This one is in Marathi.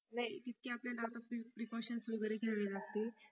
नाही तितके आता आपल्याला precautions वगैरे घ्याव्या लागतील